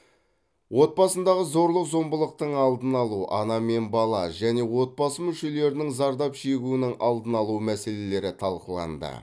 отбасындағы зорлық зомбылықтың алдын алу ана мен бала және отбасы мүшелерінің зардап шегуінің алдын алу мәселелері талқыланды